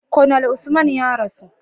Conal Usman ya rasu